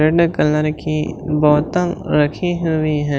Red colour की बोतल रखी हुई हैं।